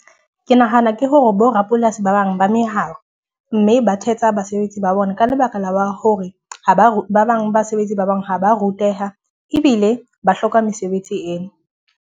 Ke nahana ke hore bo rapolasi ba bang ba meharo. Mme ba thetsa basebetsi ba bona, ka lebaka la hore ha ba re ba bang basebetsi ba bang ha ba ruteha ebile ba hloka mesebetsi eno.